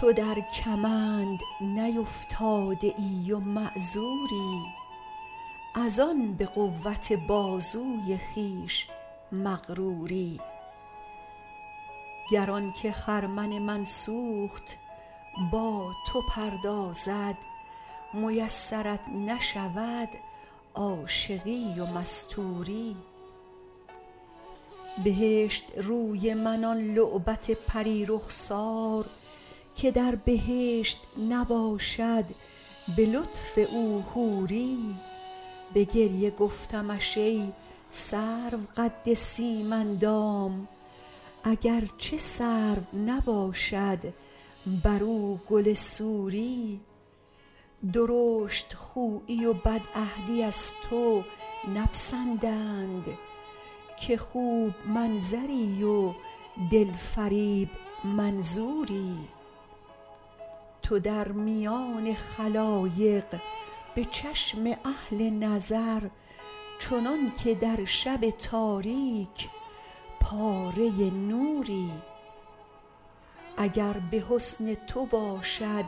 تو در کمند نیفتاده ای و معذوری از آن به قوت بازوی خویش مغروری گر آن که خرمن من سوخت با تو پردازد میسرت نشود عاشقی و مستوری بهشت روی من آن لعبت پری رخسار که در بهشت نباشد به لطف او حوری به گریه گفتمش ای سرو قد سیم اندام اگر چه سرو نباشد بر او گل سوری درشت خویی و بدعهدی از تو نپسندند که خوب منظری و دل فریب منظوری تو در میان خلایق به چشم اهل نظر چنان که در شب تاریک پاره نوری اگر به حسن تو باشد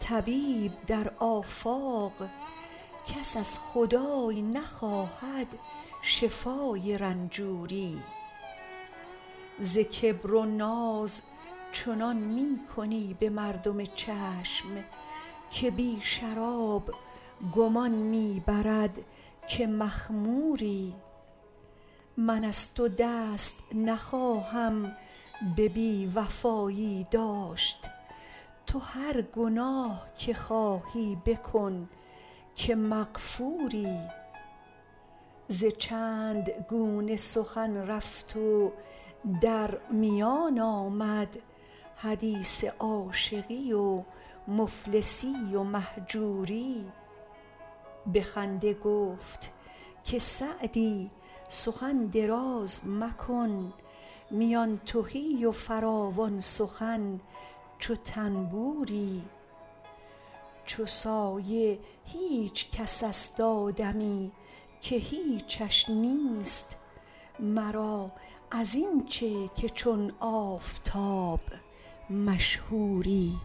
طبیب در آفاق کس از خدای نخواهد شفای رنجوری ز کبر و ناز چنان می کنی به مردم چشم که بی شراب گمان می برد که مخموری من از تو دست نخواهم به بی وفایی داشت تو هر گناه که خواهی بکن که مغفوری ز چند گونه سخن رفت و در میان آمد حدیث عاشقی و مفلسی و مهجوری به خنده گفت که سعدی سخن دراز مکن میان تهی و فراوان سخن چو طنبوری چو سایه هیچ کس است آدمی که هیچش نیست مرا از این چه که چون آفتاب مشهوری